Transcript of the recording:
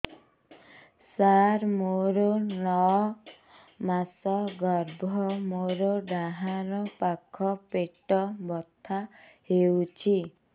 ସାର ମୋର ନଅ ମାସ ଗର୍ଭ ମୋର ଡାହାଣ ପାଖ ପେଟ ବଥା ହେଉଛି